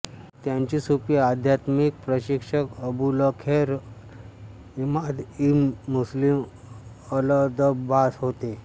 त्यांचे सुफी अध्यात्मिक प्रशिक्षक Abulkhair Hammad ibn Muslim Aldabbas होते